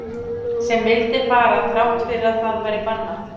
Sem vildi fara þrátt fyrir að það væri bannað?